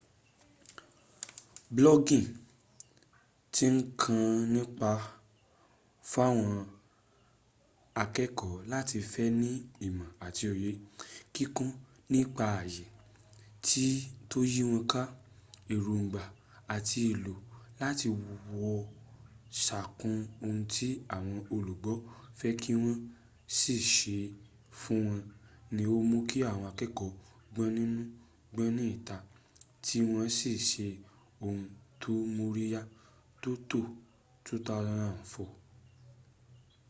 blogging ti kàn án nípá fáwọn akẹ́kọ̀ọ́ láti fẹ ní ìmọ̀ àti òye kíkún nípa ayé tó yí wọn ká” èròǹgbà àti ìlò láti wo ṣàkun ohun tí àwọn olùgbọ́ ń fẹ́ kí wọn sì ṣe e fún wọn ni ó mú kí àwọn akẹ́kọ̀ọ́ gbọ́n nínú gbọ́n ní ìlta tí wọ́n si ń ṣe ohun tó móríyá. toto 2004